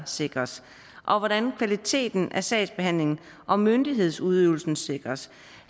sikres og hvordan kvaliteten af sagsbehandlingen og myndighedsudøvelsen sikres